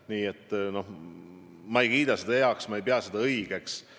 Nii et ma ei kiida seda heaks, ma ei pea seda õigeks.